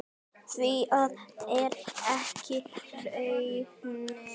Því það er ekki raunin.